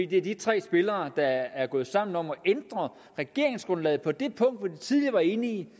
det er de tre spillere der er gået sammen om at ændre regeringsgrundlaget på det punkt hvor de tidligere var enige